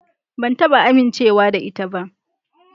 Ban taba amincewa da ita ba.